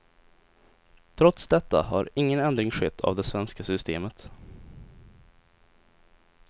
Trots detta har ingen ändring skett av det svenska systemet.